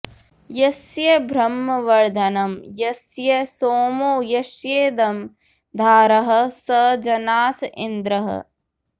यस्य ब्रह्म वर्धनं यस्य सोमो यस्येदं राधः स जनास इन्द्रः